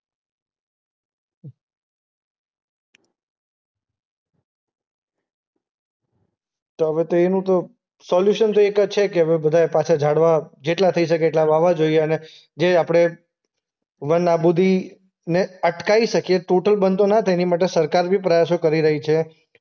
તો હવે તો એ હું તો સોલ્યુશન તો એક જ છે કે હવે બધાંય પાછા ઝાડવા જેટલા થઈ શકે એટલા વાવવા જોઈએ. અને જે આપણે વન આબૂદીને અટકાઈ શકીએ. ટોટલ બંધ તો ના થાય. એની માટે સરકાર બી પ્રયાસો કરી રહી છે.